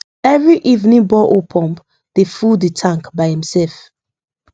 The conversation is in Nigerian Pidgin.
every evening borehole pump dey fulll the tank by imself